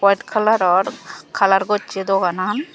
white kalaror kalar gocche doganan.